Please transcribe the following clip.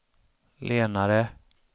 lenare